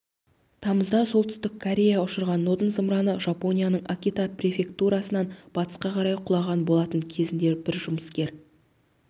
тамызда солтүстік корея ұшырған нодон зымыраны жапонияның акита префектурасынан батысқа қарай құлаған болатын кезінде бір жұмыскер